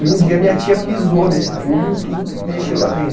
E um dia minha tia pisou nesse tubo e o tubo mexeu lá dentro.